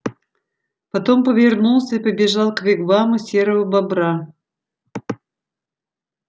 потом повернулся и побежал к вигваму серого бобра